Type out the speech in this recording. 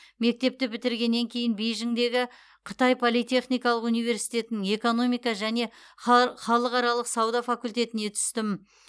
мектепті бітіргеннен кейін бейжіңдегі қытай политехникалық университетінің экономика және хал халықаралық сауда факультетіне түстім